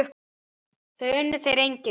Það unnu þeir einnig.